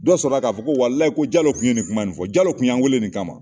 Dɔ sɔrɔ k'a fɔ ko waliyi Jalo tun ye nin kuma nin fɔ Jalo tun ye n wele nin kama